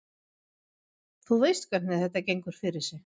Þú veist hvernig þetta gengur fyrir sig.